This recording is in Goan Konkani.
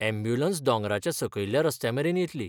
अँब्यूलंस दोंगराच्या सकयल्ल्या रस्त्यामेरेन येतली.